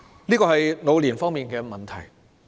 以上是長者方面的問題。